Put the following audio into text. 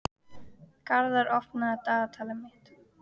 Garðar, opnaðu dagatalið mitt.